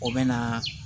O bɛ na